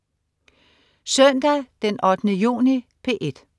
Søndag den 8. juni - P1: